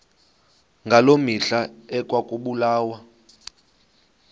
ngaloo mihla ekwakubulawa